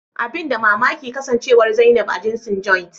Abin da mamaki kasancewar zainab a jinsin "Joint "